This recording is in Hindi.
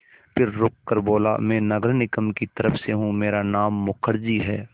फिर रुककर बोला मैं नगर निगम की तरफ़ से हूँ मेरा नाम मुखर्जी है